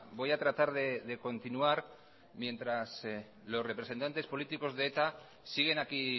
voy a tratar de continuar mientras los representantes políticos de eta siguen aquí